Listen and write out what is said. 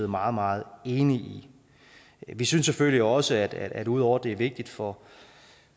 meget meget enige i vi synes selvfølgelig også at ud over at det er vigtigt for